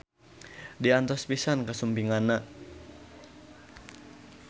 Diantos pisan kasumpinganana